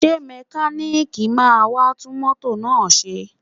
Ṣé mẹkáníìkì máa wá tún mọ́tò náà ṣe?